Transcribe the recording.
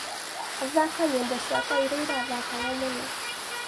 thaka nyĩmbo cĩakwaĩrĩa ĩthakagwo mũno